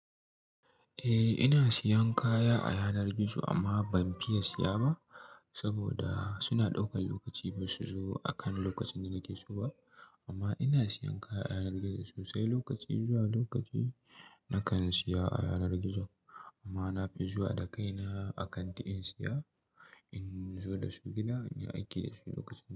Eh ina siyan kaya a yanar gizo amma ban fiya siya ba saboda suna ɗaukan lokaci ba su zo akan lokacin da nake so ba. Amma ina siyan kaya a yanar gizo sosai lokaci zuwa lokaci nakan siya a yanar gizo amma na fi zuwa da kaina a kanti in siya, in zo da su gida, in yi aiki da su lokacin da.